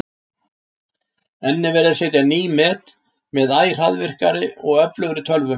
Enn er verið að setja ný met með æ hraðvirkari og öflugri tölvum.